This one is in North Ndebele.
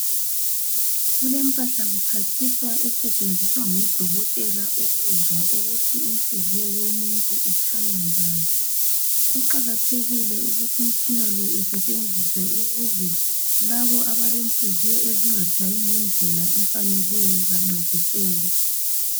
kulempahla kuphathiswa osetshenziswa ngudokotela ukuzwa ukuthi inhliziyo yomuntu itshaya njani kuqakathekile ukuthi umtshina lo usetshenziswe ukuze laba abalenhliziyo ezingatshayi ngendlela efaneleyo bancediseke